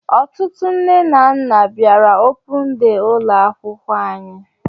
Ọtụtụ nne na nna bịara opun dee ụlọ akwụkwọ anyị